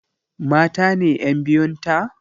Mata ne ƴan biyun ta?